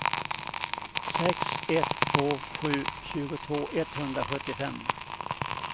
sex ett två sju tjugotvå etthundrasjuttiofem